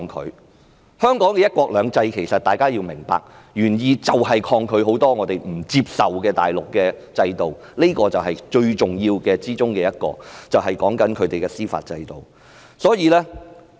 大家要明白，香港"一國兩制"的原意是抗拒很多我們不接受的大陸制度，這是最重要的一點，所指的是它的司法制度。